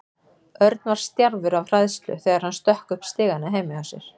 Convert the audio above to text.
Örn var stjarfur af hræðslu þegar hann stökk upp stigana heima hjá sér.